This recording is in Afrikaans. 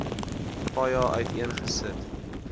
paja uiteen gesit